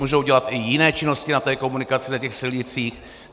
Můžou dělat i jiné činnosti na té komunikaci, na těch silnicích.